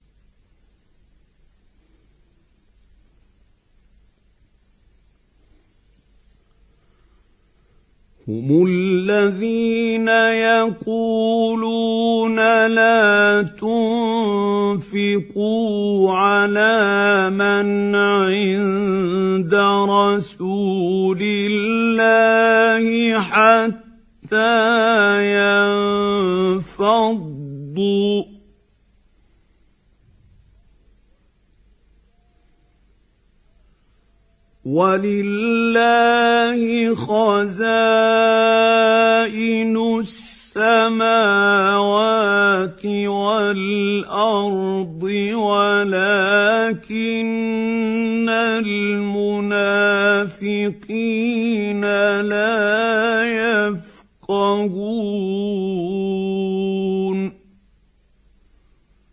هُمُ الَّذِينَ يَقُولُونَ لَا تُنفِقُوا عَلَىٰ مَنْ عِندَ رَسُولِ اللَّهِ حَتَّىٰ يَنفَضُّوا ۗ وَلِلَّهِ خَزَائِنُ السَّمَاوَاتِ وَالْأَرْضِ وَلَٰكِنَّ الْمُنَافِقِينَ لَا يَفْقَهُونَ